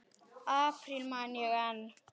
apríl man ég enn.